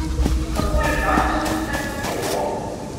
In kako Ljubljančani vse to pojo!